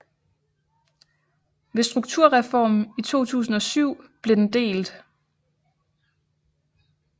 Ved strukturreformen i 2007 blev den delt